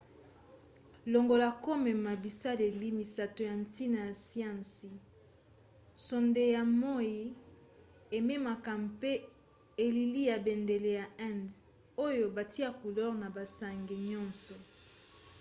longola komema bisaleli misato ya ntina ya siansi sonde ya moi ememaka mpe elili ya bendele ya inde oyo batya couleur na basonge nyonso